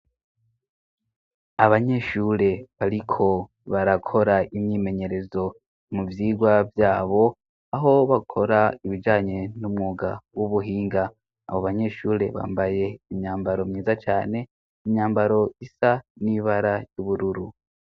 Abanyeshure bariko barakora imyimenyerezo mu vyigwa vyabo aho bakora ibijanye n'umwuga w'ubuhinga, abo banyeshure bambaye imyambaro myiza cane, imyambaro isa n'ibara yubururu.